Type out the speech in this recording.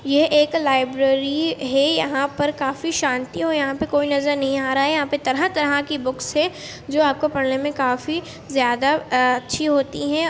ये एक लाइब्रेरी है यहाँ पर काफी शांति हो यहाँ पे कोई नज़र नहीं आ रहा है यहाँ पे तरह तरह की बुक्स है जो आपको पढ़ने मे काफी ज़्यादा अ-- अच्छी होती हैं।